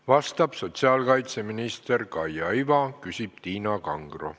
Vastab sotsiaalkaitseminister Kaia Iva ja küsib Tiina Kangro.